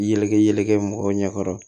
Yɛlɛkɛ yɛlɛ mɔgɔw ɲɛkɔrɔ